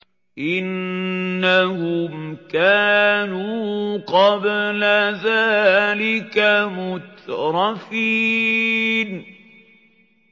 إِنَّهُمْ كَانُوا قَبْلَ ذَٰلِكَ مُتْرَفِينَ